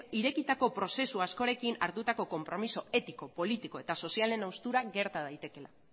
irekitako prozesu askorekin hartutako konpromiso etiko politiko eta sozialen haustura gerta daitekeela